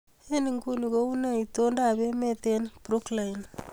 Eng nguni kounee itondoab emet eng Brooklyn